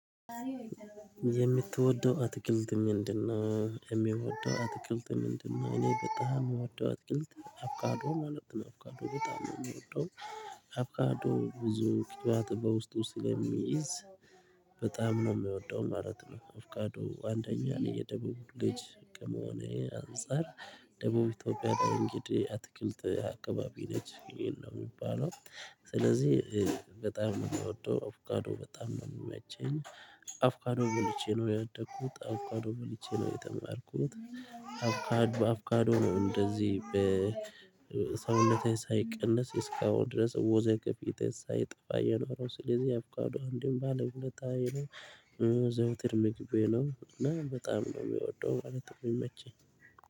የምትወደው አትክልት ምንድ ነው የሚወደው አትክልት ምንድ ነው? እኔ በጣም የምወደው አጥቅልት አብካዶም ማለት ነው አብካዶ በጣም ነው የሚወደው። አብቃዶ ብዙ ክትባት በውስጡ ስለሚይዝ በጣም ነው የሚወደው ማለት ነው። ኣቨካዶ አንደኛ የደቡብ ልጅ ከመሆኔ አንፃር ደቡብ ኢትዮጵያ ላይ እንግዲህ አትክልት አካባቢ ነች ይሄን ነው እሚባለው። ስለዚህ በጣም የምትወደው አቨካዶዱ በጣም ነው የሚያቸኝ አቨካዶቃዱ በልቼ ነው ያደኩት። አቨካዶ በልቼ ነው የተማርኩት። አቨካዶ በአቨካዶ ነው እንደዚህ በሰውነቴ ሳይቀንስ እስካሁን ድረስ ወዘገፊቴ ሳይጠፋ የኖረው ስለዚህ ያአቨካዶ እንዲህ ባለዎለታየ ነው። ዘውትር ምግቤ ነው እና በጣም ነው የሚወደው ማለት ነው የሚመቸኝ።